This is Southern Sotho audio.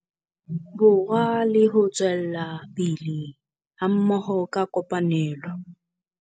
Borwa le ho tswela pele hammoho ka kopanelo.